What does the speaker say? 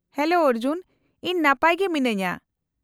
-Hello Arjun, ᱤᱧ ᱱᱟᱯᱟᱭ ᱜᱮ ᱢᱤᱱᱟᱹᱧᱟ ᱾